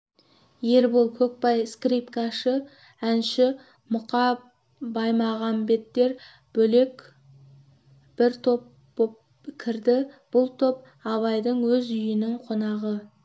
ербол көкбай скрипкашы-әнші мұқа баймағамбеттер бөлек бір топ боп кірді бұл топ абайдың өз үйінің қонағы